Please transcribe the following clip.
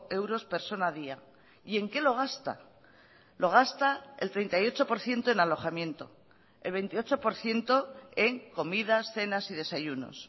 euros persona día y en qué lo gasta lo gasta el treinta y ocho por ciento en alojamiento el veintiocho por ciento en comidas cenas y desayunos